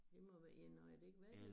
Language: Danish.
Det må være en nå er det ikke hvad det